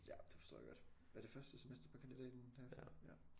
Ja det forstår jeg godt er det første semester på kandidaten derefter ja